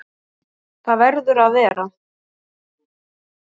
Það verður að vera.